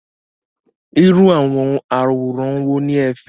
Irú àwòrán wo ni ẹ fẹ́?